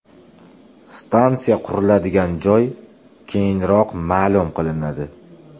Stansiya quriladigan joy keyinroq ma’lum qilinadi.